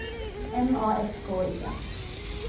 M A S K I N